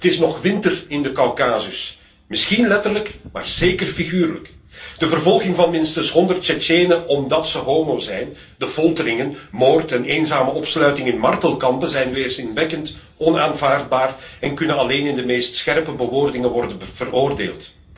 Het is nog winter in de Kaukasus. Misschien letterlijk maar zeker figuurlijk. De vervolging van minstens honderd Tsjetsjenen omdat ze homo zijn, de folteringen, moord en eenzame opsluiting in martelkampen zijn weerzinwekkend en onaanvaardbaar en kunnen alleen in de scherpste bewoordingen worden veroordeeld.